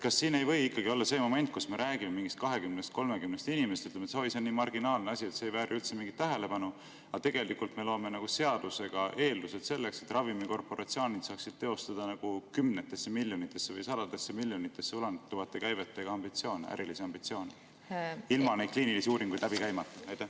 Kas siin ei või olla see moment, kus me räägime mingist 20–30 inimesest ja ütleme, et oi, see on nii marginaalne asi, et see ei vääri üldse mingit tähelepanu, aga tegelikult me loome seadusega eeldused selleks, et ravimikorporatsioonid saaksid teostada kümnetesse miljonitesse või sadadesse miljonitesse ulatuvate käivetega ärilisi ambitsioone ilma neid kliinilisi uuringuid läbi tegemata?